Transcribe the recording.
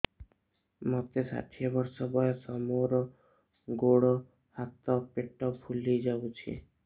ମୋତେ ଷାଠିଏ ବର୍ଷ ବୟସ ମୋର ଗୋଡୋ ହାତ ପେଟ ଫୁଲି ଯାଉଛି